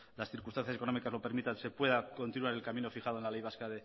las circunstancias económicas lo permitan se pueda continuar el camino fijado en la ley vasca